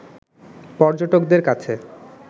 পর্যটকদের কাছে